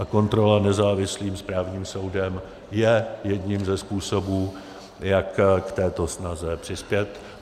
A kontrola nezávislým správním soudem je jedním ze způsobů, jak k této snaze přispět.